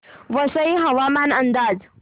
वसई हवामान अंदाज